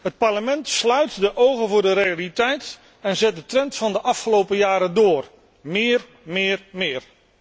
Het Parlement sluit de ogen voor de realiteit en zet de trend van de afgelopen jaren door meer, meer, meer.